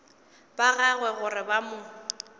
ba gagwe gore ba mo